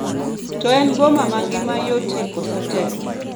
To en boma ma ngima yotie koso tek